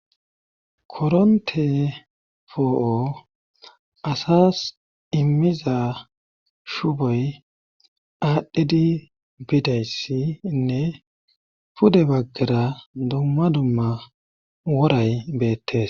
Koronte poo7o asas immiza shuboy aadhdhedi bidayssiinne pude baggera dumma dumma woray beettes.